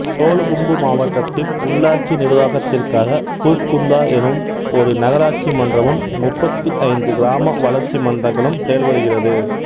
சோலுகும்பு மாவட்டத்தின் உள்ளாட்சி நிர்வாகத்திற்காக தூத்குந்தா எனும் ஒரு நகராட்சி மன்றமும் முப்பத்தி ஐந்து கிராம வளர்ச்சி மன்றங்களும் செயல்படுகிறது